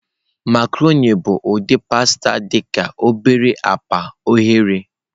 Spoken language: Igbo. Macroni bụ ụdị pasta dị ka obere akpa oghere.